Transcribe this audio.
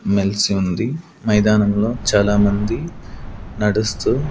మెల్సి ఉంది మైదానంలో చాలామంది నడుస్తూ.